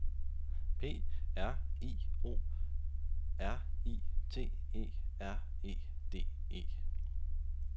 P R I O R I T E R E D E